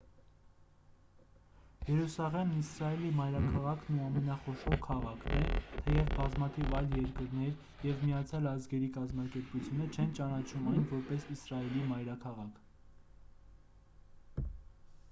երուսաղեմն իսրայելի մայրաքաղաքն ու ամենախոշոր քաղաքն է թեև բազմաթիվ այլ երկրներ և միացյալ ազգերի կազմակերպությունը չեն ճանաչում այն որպես իսրայելի մայրաքաղաք